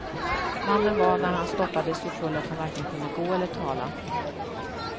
Mannen var när han stoppades så full att han varken kunde gå eller tala.